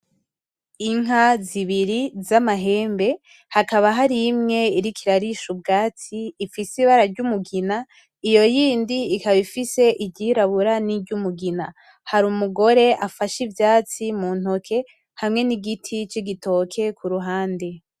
Inka zibiri z’amahembe, hakaba har'imwe iriko irarisha ubwatsi ifise ibara ry’umugina, iyo yindi ikaba ifise iry' irabura n’iry’umugina. Hari umugore afashe ivyatsi mu ntoki hamwe n’igiti c’igitoke kuruhande.